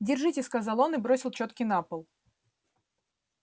держите сказал он и бросил чётки на пол